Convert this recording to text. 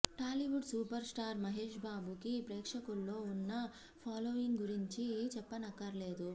Tollywood super star Mahesh బాబుకి ప్రేక్షకుల్లో ఉన్న ఫాలోయింగ్ గురించి చెప్పనక్కర్లేదు